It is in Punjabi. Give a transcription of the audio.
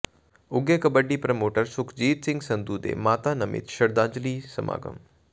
ਉੱਘੇ ਕਬੱਡੀ ਪ੍ਰਮੋਟਰ ਸੁਖਜੀਤ ਸਿੰਘ ਸੰਧੂ ਦੇ ਮਾਤਾ ਨਮਿਤ ਸ਼ਰਧਾਂਜਲੀ ਸਮਾਗਮ